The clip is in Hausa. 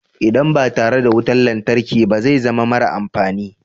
Idan ba tare da wutar lantarki ba zai zama mara amfani.